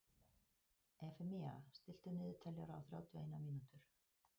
Efemía, stilltu niðurteljara á þrjátíu og eina mínútur.